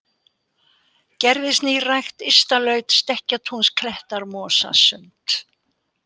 Gerðisnýrækt, Ystalaut, Stekkatúnsklettar, Mosasund